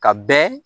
Ka bɛn